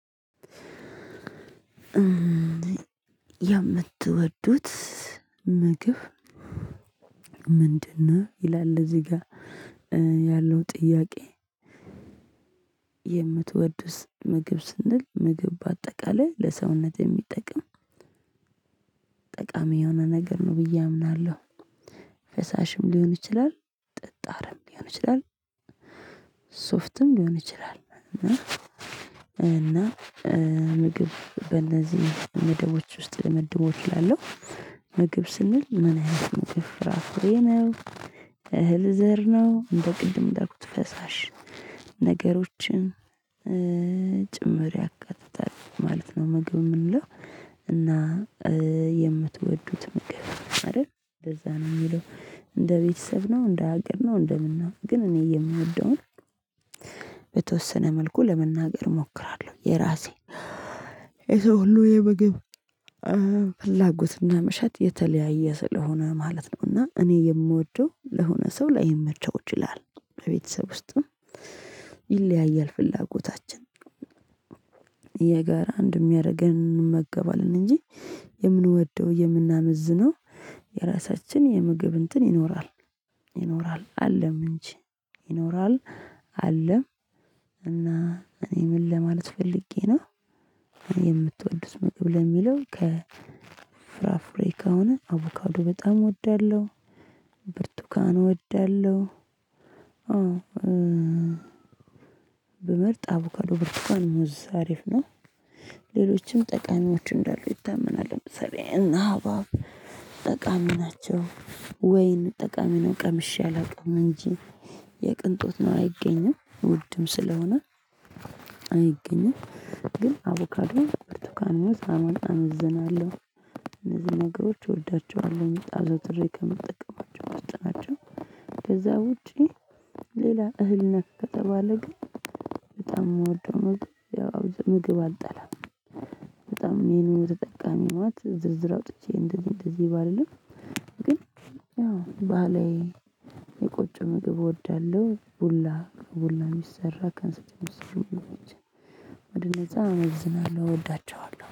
የምትወዱት ምግብ ምንድነው? ይላል እዚህ ጋር ያለው ጥያቄ? የምትወዱስ ምግብ ስንል ምግብ በአጠቃላይ ለሰውነት የሚጠቅም ጠቃሚ የሆነ ነገር ነው ብዬ አምናለሁ። ፈሳሽም ሊሆን ይችላል ጠጣርም ሊሆን ይችላል። ሶፍትም ሊሆን ይችላል እና እና ምግብ በእነዚህ መደቦች ውስጥ ልመድበው እችላለሁ። ምግብ ስንል ምን አይነት ምግብ ፍራፍሬ ነው እህል ዘር ነው እንደ ቅድም እንዳልኩት ፈሳሽ ነገሮችን ጭምር ያካትታል ማለት ነው። ምግብ የምንለው። እና የምትወዱት ምግብ አይደል እንደዛ ነው የሚለው እንደ ቤተሰብ ነው እንደ ሀገር ነው እንደምን ነው። ግን እኔ የምወደውን በተወሰነ መልኩ ለመናገር እሞክራለሁ። የራሴ የሰው ሁሉ የምግብ ፍላጎትና መሻት የተለያየ ስለሆነ ማለት ነው። እና እኔ የምወደው ለሆነ ሰው ላይመቸው ይችላል። በቤተሰብ ውስጥም ይለያያል ፍላጎታችን። የጋራ አንድ የሚያደርገን እንመገባለን እንጂ የምንወደው የምናመዝነው የራሳችን የምግብ እንትን ይኖራል። ይኖራል አለም እንጂ ይኖራል አለም እና እኔ ምን ለማለት ፈልጌ ነው። እኔ የምትወድ ምግብ ለሚለው ከፍራፍሬ ከሆነ አቮካዶ በጣም እወዳለሁ። ብርቱካን እወዳለሁ። ብመርጥ አቮካዶ ብርቱካን ሙዝ አሪፍ ነው። ሌሎችም ጠቃሚዎች እንዳሉ ይታመናል ለምሳሌ እነሐባብ ጠቃሚ ናቸው። ወይን ጠቃሚ ነው ቀምሼ አላውቅም እንጂ የቅንጦት ነው አይገኝም ውድም ስለሆነ። አይገኝም። ግን አቮካዶን ብርቱካን ሙዝ መውሰድ አመዝናለሁ። እነዚህን ነገሮች እወዳቸዋለሁ አዘውትሬ ከምጠቀማቸው ውስጥ ናቸው። ከዛ ውጪ ሌላ እህል ነክ ከተባለ ግን። በጣም የምወደው ምግብ ያው ምግብ አልጠላም። በጣም ይሄን ተጠቃሚ ህይወት ዝርዝር አውጥቼ እንደዚህ እንደዚህ ባልልም ግን ያው ባህላዊ የቆጮምግብ እወዳለሁ። ቡላ ከቡላ የሚሰራ ከእንስት ከሚሰሩ ምግቦች። ወደነዛ አመዝናለሁ እወዳቸዋለሁ